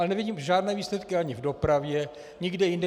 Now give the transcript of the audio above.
Ale nevidím žádné výsledky ani v dopravě, nikde jinde.